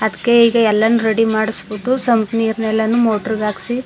ಅದಕ್ಕೆ ಈಗಾ ಎಲ್ಲಾನು ರೆಡಿ ಮಾಡ್ಸಬಿಟ್ಟು ಸಂಪ್ ನೀರನ್ ಎಲ್ಲಾನು ಮೊಟರ್ ಹಾಕ್ಸಿ.